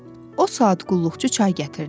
O saat qulluqçu çay gətirdi.